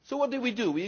So what did we